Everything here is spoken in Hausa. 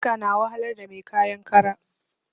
Iska na wahalar da mai kayan kara